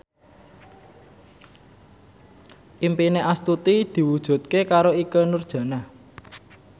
impine Astuti diwujudke karo Ikke Nurjanah